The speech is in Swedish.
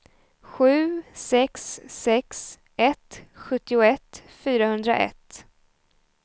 sju sex sex ett sjuttioett fyrahundraett